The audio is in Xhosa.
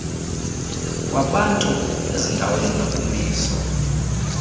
kwabantu ezindaweni nokumiswa